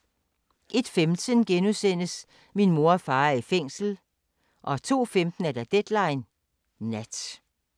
01:15: Min mor og far er i fængsel * 02:15: Deadline Nat